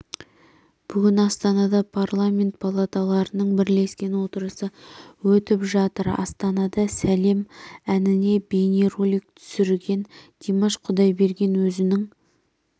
бүгін астанада парламент палаталарының бірлескен отырысы өтіп жатыр астанада сәлем әніне бейнеролик түсірген димаш құдайберген өзінің